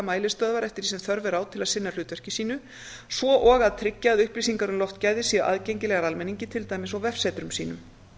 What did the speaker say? mælistöðvar eftir þess á þörf er á til að sinna hlutverki sínu svo og að tryggja að upplýsingar um loftgæði séu aðgengilegar almenningi til dæmis eins og vefsetrum sínum